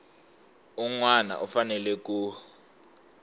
un wana u fanele ku